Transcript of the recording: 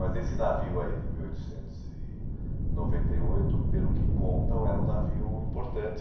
Mas esse navio aí de mil oitocentos e noventa e oito, pelo que contam, era um navio importante.